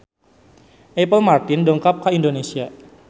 Apple Martin dongkap ka Indonesia